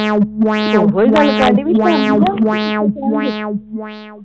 ਉਹੋ ਹੀ ਗੱਲ ਕਰਨ ਢਈ ਕੇ ਸ਼ਾਮ ਦਿੱਤੇ ਜਾਣਗੇ